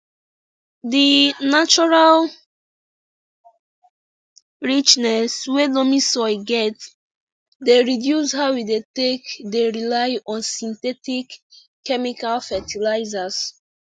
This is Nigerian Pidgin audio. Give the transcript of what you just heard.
di natural richness wey loamy soil get dey reduce how we dey take dey rely on synthetic chemical fetilizers